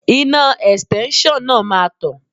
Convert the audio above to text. Iná Ẹ̀stẹ́nṣọ̀n náà máa tàn.